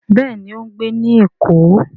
Béèni o ń gbé ní èkó.